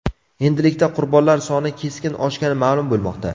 Endilikda qurbonlar soni keskin oshgani ma’lum bo‘lmoqda.